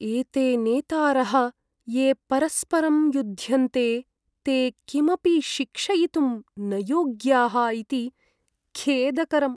एते नेतारः, ये परस्परं युध्यन्ते, ते किमपि शिक्षयितुं न योग्याः इति खेदकरम्।